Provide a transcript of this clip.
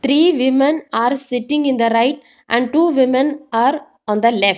three women are sitting in the right and two women are on the left.